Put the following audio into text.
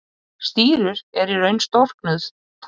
Stírur eru í raun storknuð tár.